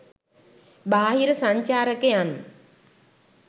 බාහිර සංචාරකයන්